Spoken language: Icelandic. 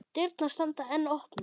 Dyrnar standa enn opnar.